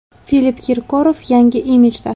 Filipp Kirkorov yangi imijda.